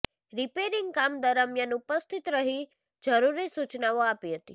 repairing કામ દરમ્યાન ઉપસ્થિત રહી જરૂરી સુચનાઓ આપી હતી